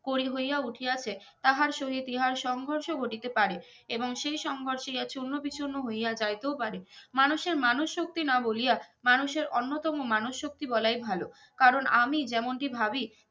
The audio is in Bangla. করি হইয়া উঠিয়াছে তাহার সো ইতিহাস সংঘর্ষ ঘটিতে পারে এবং সেই সংঘর্ষে ইহা চুর্নো বিচুর্নো হইয়া যাইতেও পারে মানুষের মানুষ শক্তি না বলিয়া মানুষের অন্যতম মানুষ শক্তি বলাই ভালো কারন আমি যেমন টি ভাবি